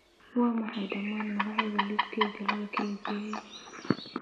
Waa maxay dhammaan magacyada liiskayga la kaydiyay?